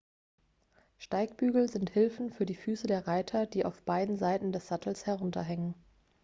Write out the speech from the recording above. steigbügel sind hilfen für die füße der reiter die auf beiden seiten des sattels herunterhängen